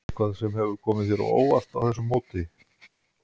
Eitthvað sem hefur komið þér á óvart á þessu móti?